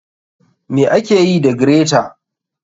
ma akeyi da greta.